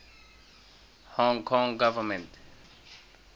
hong kong government